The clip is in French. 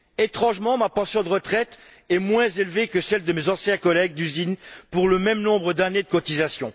Étrangement, ma pension de retraite est moins élevée que celle de mes anciens collègues d'usine pour le même nombre d'années de cotisation.